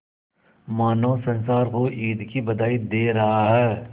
मानो संसार को ईद की बधाई दे रहा है